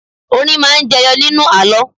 Orin máa ń jẹyọ nínú àlọ́